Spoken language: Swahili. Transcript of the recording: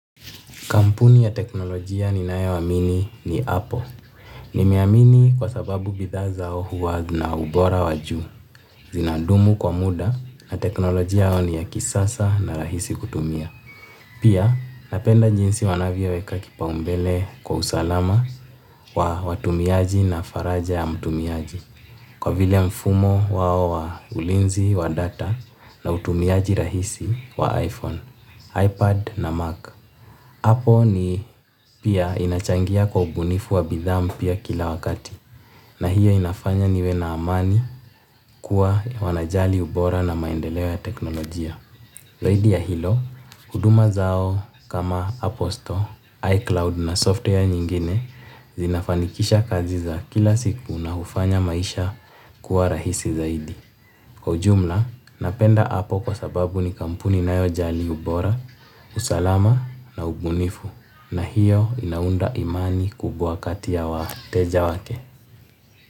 Kampuni ya teknologia ninayoamini ni apple. Nimeamini kwa sababu bidhaa zao huwa na ubora waju. Zinadumu kwa muda na teknolojia yao ni ya kisasa na rahisi kutumia. Pia napenda jinsi wanavyoweka kipaumbele kwa usalama wa watumiaji na faraja ya mtumiaji. Kwa vile mfumo wao wa ulinzi wa data na utumiaji rahisi wa iPhone, iPad na Mac. Apple ni pia inachangia kwa ubunifu wa bidham pia kila wakati. Na hiyo inafanya niwe na amani kuwa wanajali ubora na maendeleo ya teknolojia. Zaidi ya hilo, huduma zao kama apple store, iCloud na software nyingine zinafanikisha kazi za kila siku na hufanya maisha kuwa rahisi zaidi. Kwa ujumla, napenda apple kwa sababu ni kampuni inayojali ubora, usalama na ubunifu. Na hiyo inaunda amani kubwa kati ya wateja wake.